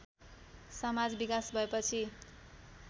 समाज विकास भएपछि